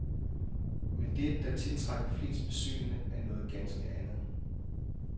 Men det, der tiltrækker flest besøgende, er noget ganske andet.